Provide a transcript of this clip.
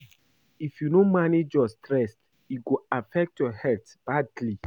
If you no manage your stress, e go affect your health badly.